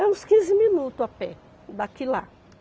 É uns quinze minutos a pé daqui lá.